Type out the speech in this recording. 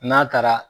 N'a taara